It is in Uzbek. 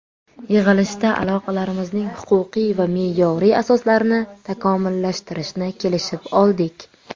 Yig‘ilishda aloqalarimizning huquqiy va me’yoriy asoslarini takomillashtirishni kelishib oldik.